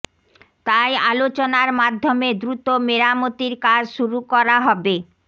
তাই আলোচনার মাধ্যমে দ্রুত মেরামতির কাজ শুরু করা হবে